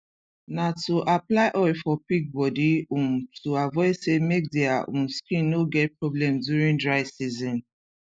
na too apply oil for pig body um to avoid sey make dia um skin no get problem during dry season